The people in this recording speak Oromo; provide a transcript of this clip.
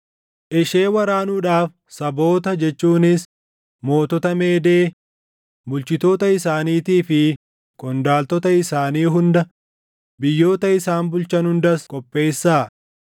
Ishee waraanuudhaaf saboota jechuunis, mootota Meedee bulchitoota isaaniitii fi qondaaltota isaanii hunda, biyyoota isaan bulchan hundas qopheessaa.